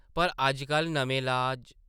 पर अज्जकल नमें इलाज....।